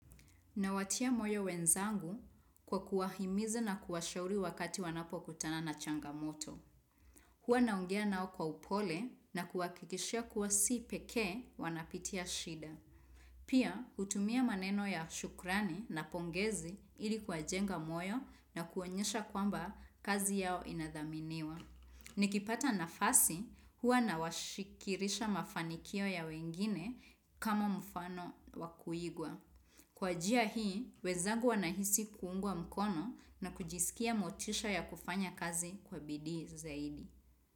Nawatia moyo wenzangu, kwa kuwahimiza na kuwashauri wakati wanapokutana na changamoto. Huwa naongea nao kwa upole na kuwahakikishia kuwa si pekee wanapitia shida. Pia, utumia maneno ya shukrani na pongezi ili kuwajenga moyo na kuwaonyesha kwamba, kazi yao inadhaminiwa. Nikipata nafasi, huwa na washikirisha mafanikio ya wengine, kama mfano wa kuigwa. Kwa jia hii, wenzagu wanahisi kuungwa mkono na kujisikia motisha ya kufanya kazi kwa bidii zaidi.